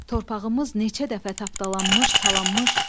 Torpağımız neçə dəfə tapdalanmış, talanmış.